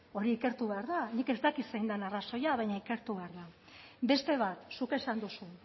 hori ikertu behar da nik ez dakit zein den arrazoia baina ikertu behar da beste bat zuk esan duzu